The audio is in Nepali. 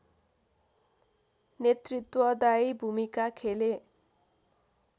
नेतृत्वदायी भूमिका खेले